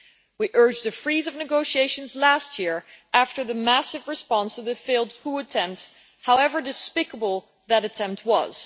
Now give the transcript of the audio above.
We urged the freezing of negotiations last year after the massive response to the failed coup attempt, however despicable that attempt was.